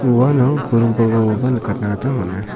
uano buring nikatna gita man·a.